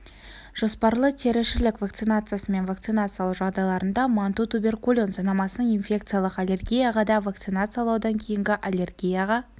жоспарлы теріішілік вакцинасымен вакцинациялау жағдайларында манту туберкулин сынамасын инфекциялық аллергияға да вакцинациялаудан кейінгі аллергияға